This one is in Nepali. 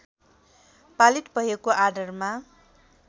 पालित भएको आधारमा